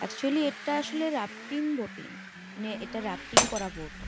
Actually এটা আসলে rafting boating. মানে এটা রাপিটিং করা বোট ।